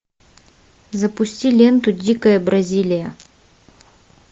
запусти ленту дикая бразилия